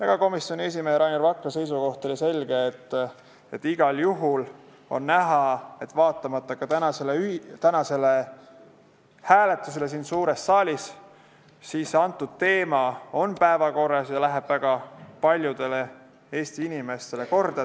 Ka komisjoni esimehe Rainer Vakra seisukoht oli selge: igal juhul on näha, et vaatamata tänasele hääletusele siin suures saalis on antud teema päevakorral ja läheb väga paljudele Eesti inimestele korda.